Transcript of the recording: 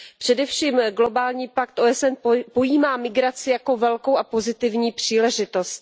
Především globální pakt OSN pojímá migraci jako velkou a pozitivní příležitost.